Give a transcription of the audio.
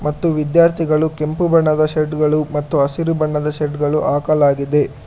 ಮತ್ತು ವಿದ್ಯಾರ್ಥಿಗಳು ಕೆಂಪು ಬಣ್ಣದ ಶರ್ಟ್ ಗಳು ಮತ್ತು ಹಸಿರು ಬಣ್ಣದ ಶರ್ಟ್ ಗಳು ಹಾಕಲಾಗಿದೆ.